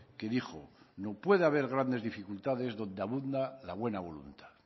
que dijo no puede haber grandes dificultades donde abunda la buena voluntad